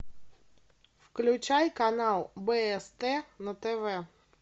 включай канал бст на тв